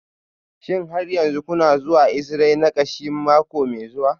Shin har yanzu kuna zuwa yin exi-ray na kashi mako mai zuwa?